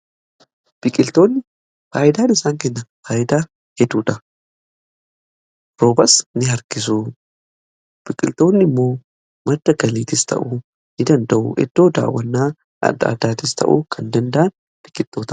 Biqiltoonni faayidaan isaan kennan faayidaa hedduudha roobas ni harkisu biqiltoonni immoo madda galiitis ta'u ni danda'u iddoo daawannaa adda addaatis ta'uu kan danda'an biqiltoota.